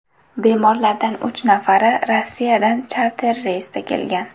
Bemorlardan uch nafari Rossiyadan charter reysda kelgan.